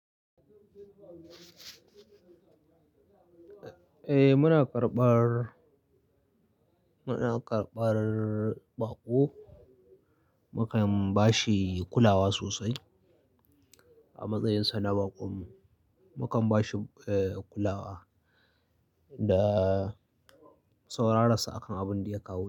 Eh muna karɓar, muna karɓar baƙo. Mukan bashi kulawa sosai a matsayin sa na baƙon. Mukan bashi kulawa da saurara akan abin da ya kawo.